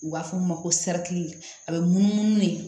U b'a fɔ o ma ko sirat a bɛ munumunu de